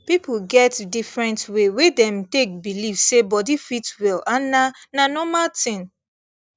people get different way wey dem take believe say body fit well and na na normal thing